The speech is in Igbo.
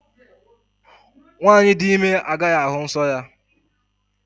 Nwaanyị di ime agaghị ahụ nsọ ya.